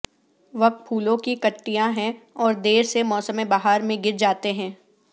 وک پھولوں کی کٹیاں ہیں اور دیر سے موسم بہار میں گر جاتے ہیں